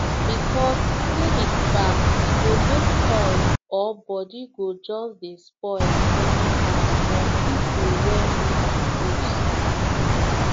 because clinic far e go make health or body go just dey spoil anyhow for people wey need am most